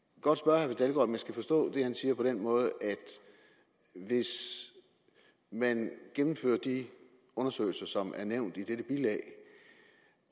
ikke om jeg skal forstå det han siger på den måde at hvis man gennemfører de undersøgelser som er nævnt i dette bilag